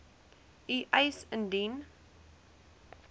u eis indien